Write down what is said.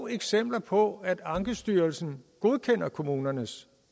eksempler på at ankestyrelsen godkender kommunernes